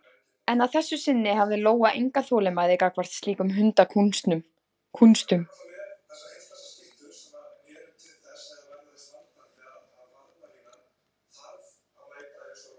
En að þessu sinni hafði Lóa enga þolinmæði gagnvart slíkum hundakúnstum.